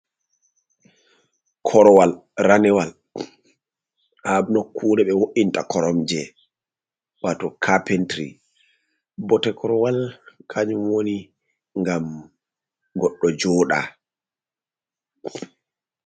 Korwal ranewal ha nokkure be wo’inta koromje. Wato kapintiri bote korowal kanjum woni ngam goɗɗo jooɗa.